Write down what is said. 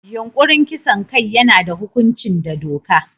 Yunkurin kisan kai yana da hukunci da doka.